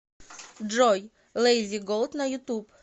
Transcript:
джой лейзи голд на ютуб